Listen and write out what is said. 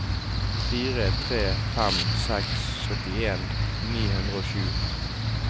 fire tre fem seks syttien ni hundre og sju